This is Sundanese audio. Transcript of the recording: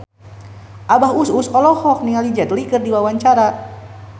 Abah Us Us olohok ningali Jet Li keur diwawancara